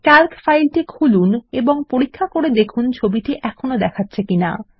Calc ফাইলটি খুলুন এবং দেখুন ছবিটি এখনও দেখাচ্ছে কিনা